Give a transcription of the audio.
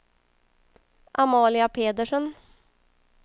Amalia Pedersen